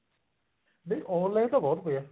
ਨਹੀਂ online ਤਾਂ ਬਹੁਤ ਪਿਆ